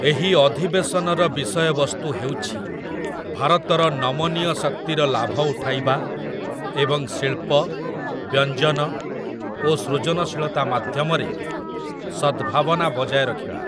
ଏହି ଅଧିବେଶନର ବିଷୟବସ୍ତୁ ହେଉଛି ଭାରତର ନମନୀୟ ଶକ୍ତିର ଲାଭ ଉଠାଇବା ଏବଂ ଶିଳ୍ପ, ବ୍ୟଞ୍ଜନ ଓ ସୃଜନଶୀଳତା ମାଧ୍ୟମରେ ସଦ୍‌ଭାବନା ବଜାୟ ରଖିବା ।